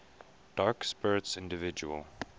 dark spirits individual